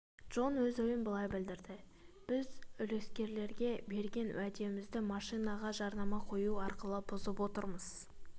джон өз ойын былай білдірді біз үлескерлерге беген уәдемізді машинаға жарнама қою арқылы бұзып отырмыз